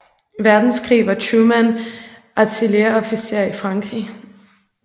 Verdenskrig var Truman artilleriofficer i Frankrig